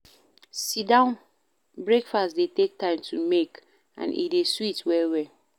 Sit-down breakfast dey take time to make and e dey sweet well well